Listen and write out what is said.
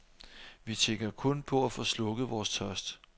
Vi tænker kun på at få slukket vores tørst.